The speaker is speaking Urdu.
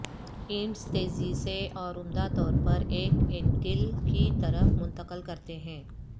اینٹس تیزی سے اور عمدہ طور پر ایک اینٹیل کی طرف منتقل کرتے ہیں